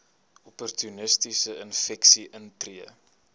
opportunistiese infeksies intree